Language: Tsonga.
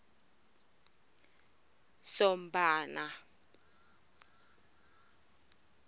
sombana